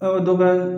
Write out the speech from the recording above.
A ka dɔ bɔ